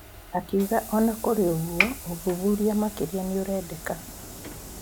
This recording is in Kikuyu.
Akiuga ona kũrĩ oũguo ũthuthuria makĩria nĩũrendeka.